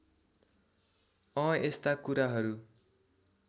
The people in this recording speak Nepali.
अँ यस्ता कुराहरू